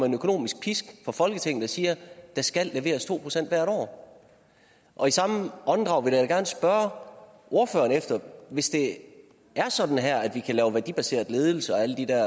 en økonomisk pisk fra folketinget og siger at der skal leveres to procent hvert år og i samme åndedrag vil jeg da gerne spørge ordføreren hvis det er sådan her at vi kan lave en værdibaseret ledelse og alle de der